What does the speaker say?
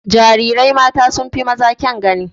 Jarirai mata sun fi maza kyan gani.